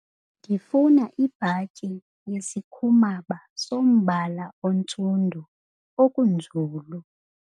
Ndifuna ibhatyi yesikhumaba sombala ontsundu okunzulu.